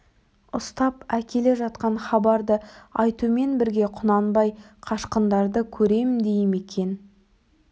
ұстап әкеле жатқан хабарды айтумен бірге құнанбай қашқындарды көрем дей ме екен